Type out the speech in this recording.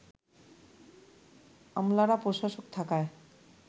আমলারা প্রশাসক থাকায়